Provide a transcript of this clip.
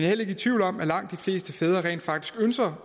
heller ikke i tvivl om at langt de fleste fædre faktisk ønsker